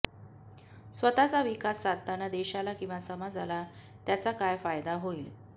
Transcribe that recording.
स्वतःचा विकास साधताना देशाला किंवा समाजाला त्याचा काय फायदा होईल